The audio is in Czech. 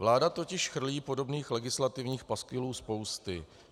Vláda totiž chrlí podobných legislativních paskvilů spousty.